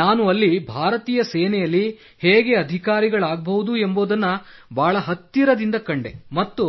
ನಾನು ಅಲ್ಲಿ ಭಾರತೀಯ ಸೇನೆಯಲ್ಲಿ ಹೇಗೆ ಅಧಿಕಾರಿಗಳಾಗಬಹುದು ಎಂಬುದನ್ನು ಬಹಳ ಹತ್ತಿರದಿಂದ ಕಂಡೆ ಮತ್ತು